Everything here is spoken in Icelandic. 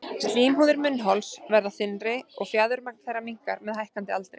Slímhúðir munnhols verða þynnri og fjaðurmagn þeirra minnkar með hækkandi aldri.